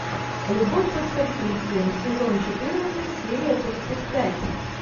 любовь под прикрытием сезон четырнадцать серия тридцать пять